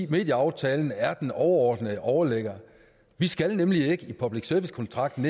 medieaftalen er den overordnede overligger vi skal nemlig ikke i public service kontrakten